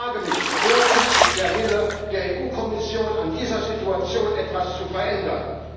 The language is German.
Ich frage mich Wo ist der Wille der EU Kommission, an dieser Situation etwas zu verändern?